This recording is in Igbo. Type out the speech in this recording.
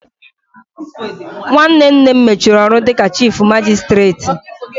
Nwanne nne m mechiri ọrụ dịka chifu magisitireti